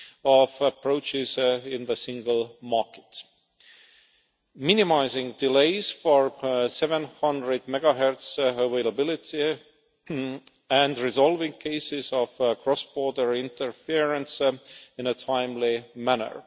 of approaches in the single market minimising delays for 700 MHz availability and resolving cases of cross border interference in a timely manner